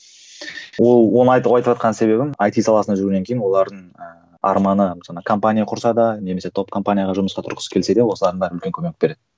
ол оны айтыватқан себебім айти саласында жүргеннен кейін олардың ы арманы жаңа компания құрса да немесе топ компанияға жұмысқа тұрғысы келсе де осылардың бәрін білуге көмек береді